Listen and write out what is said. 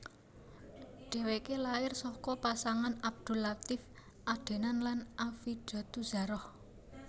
Dheweke lair saka pasangan Abdul Latief Adenan lan Affidatuzzahro